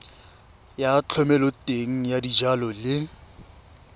ya thomeloteng ya dijalo le